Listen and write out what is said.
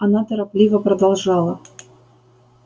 она торопливо продолжала